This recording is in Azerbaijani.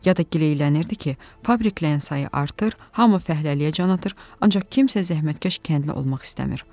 Ya da gileylənirdi ki, fabriklərin sayı artır, hamı fəhləliyə can atır, ancaq kimsə zəhmətkeş kəndli olmaq istəmir.